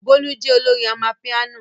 Bolu jẹ́ olórin amapiano.